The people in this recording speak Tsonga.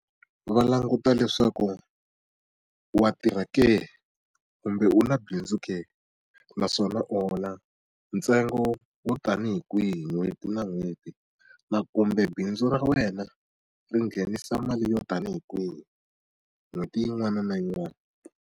Va languta leswaku wa tirha ke? Kumbe u na bindzu ke? Naswona u hola ntsengo wo tanihi kwihi hi n'hweti na n'hweti? Kumbe bindzu ra wena ri nghenisa mali yo tanihi kwihi n'hweti yin'wana na yin'wana?